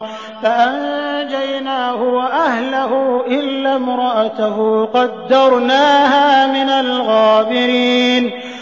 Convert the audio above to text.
فَأَنجَيْنَاهُ وَأَهْلَهُ إِلَّا امْرَأَتَهُ قَدَّرْنَاهَا مِنَ الْغَابِرِينَ